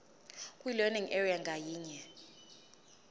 kwilearning area ngayinye